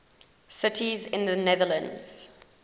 cities in the netherlands